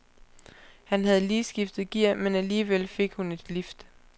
Han havde lige skiftet gear, men alligevel fik hun et lift.